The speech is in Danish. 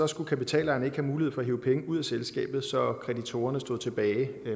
skulle kapitalejerne ikke have mulighed for at hive penge ud af selskabet så kreditorerne stod tilbage